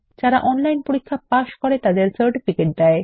যারা অনলাইন পরীক্ষা পাস করে তাদের সার্টিফিকেট দেয়